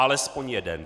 Alespoň jeden.